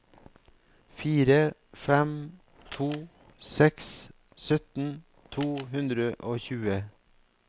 fire fem to seks sytten to hundre og tjue